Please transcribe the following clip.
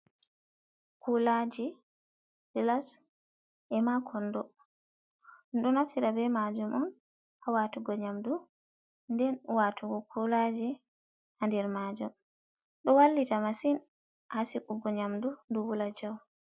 Kulaji plas e makondo ɗum ɗo naftira be majum on hawatugo nyamdu nden watugo kulaji ha nder majum. Do wallita massin hasigugo nyamdu do wula jau.